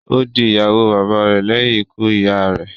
Ó di ìyàwó bàba rè lẹ́yìn ikú ìyá a rẹ̀.